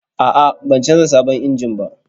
A'a, ban canza sabon injin ba.